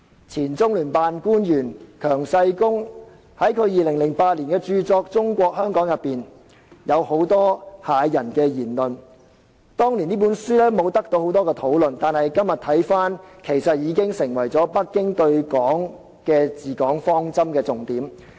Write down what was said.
前中聯辦官員強世功在2008年發表有關中國香港的著作，當中有很多駭人言論，當年沒有太多人討論這本書，但今天相關言論已經成為北京對香港的治港方針。